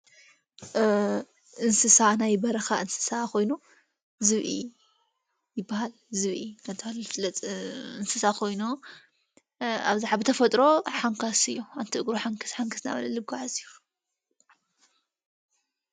እንስሳ ናይ በረኻ እንስሳ ኾይኖ ዝብኢ ይበሃል ዝብኢ ነታሃለል ፍለጽ እንስሳ ኾይኖ ኣብዛኅ ብተፈጥሮ ሓንካስ እዮ ኣንቲ እግሩ ሓንክስ ሓንክስናበለል ጓዕዝ ዩ።